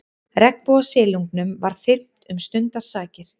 Regnbogasilungnum var þyrmt um stundarsakir.